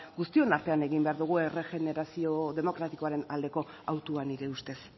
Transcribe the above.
guztion artean egin behar dugu erregenerazio demokratikoaren aldeko autua nire ustez